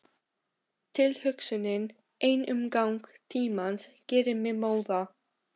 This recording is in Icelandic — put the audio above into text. Tilhugsunin ein um gang tímans gerir mig móða.